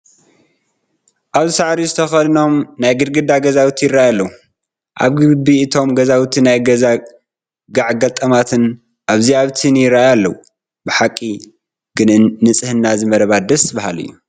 ኣብዚ ሳዕሪ ዝኽዳኖም ናይ ግድግዳ ገዛውቲ ይርአዩ ኣለዉ፡፡ ኣብ ግቢ እቶም ገዛውቲ ናይ ገዛ ጋዕ ገልጠማት ኣብዚን ኣብቲን ይርአዩ ኣለዉ፡፡ ብሓቂ ግን ንፅህና እዚ መረባ ደስ በሃሊ እዩ፡፡